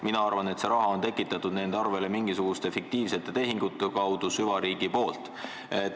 Mina arvan, et see raha on tekitatud nende arvele mingisuguste fiktiivsete tehingute kaudu süvariigi poolt.